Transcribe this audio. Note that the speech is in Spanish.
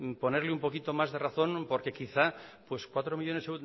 ponerle un poquito más de razón porque quizá pues cuatro millónes